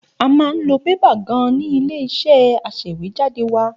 A máa ń lo bébà gan-an ní ilé-iṣẹ́ aṣèwéjádé wá.